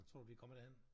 Tror du vi kommer derhen?